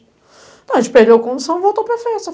Então, a gente perdeu a condução e voltou para a festa.